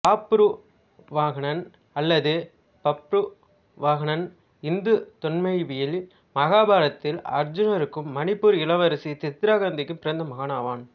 பாப்புருவாகனன் அல்லது பப்ருவாகனன் இந்து தொன்மவியலில் மகாபாரதத்தில் அருச்சுனனிற்கும் மணிப்பூர் இளவரசி சித்திராங்கதைக்கும் பிறந்த மகனாவான்